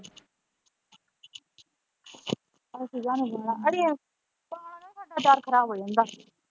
ਅੱਛਾ ਅੜੀਏ ਅਚਾਰ ਖਰਾਬ ਹੋ ਜਾਂਦਾ ।